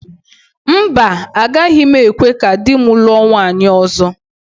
Mba, agaghị m ekwe ka di m lụọ nwunye ọzọ.